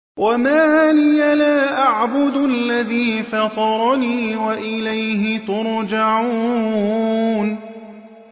وَمَا لِيَ لَا أَعْبُدُ الَّذِي فَطَرَنِي وَإِلَيْهِ تُرْجَعُونَ